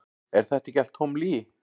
Er þetta ekki allt tóm lygi?